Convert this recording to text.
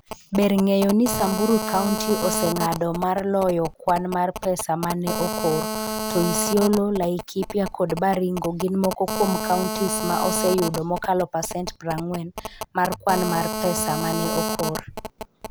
Ber ng'eyo ni Samburu County oseng'ado mar loyo kwan mar pesa ma ne okor, to Isiolo, Laikipia kod Baringo gin moko kuom counties ma oseyudo mokalo pasent 40 mar kwan mar pesa ma ne okor.